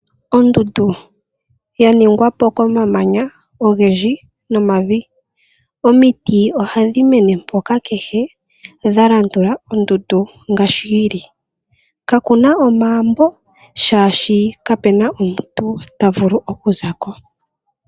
Ondundu yaningwapo komamanya ogendji nomavi. Omiti ohadhi mene mpoka kehe dhalandula ondundu ngashi yi li. Kakuna omaambo shaashi kapena omuntu ta vulu oku zako.